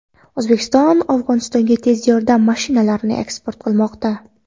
O‘zbekiston Afg‘onistonga tez yordam mashinalarini eksport qilmoqda.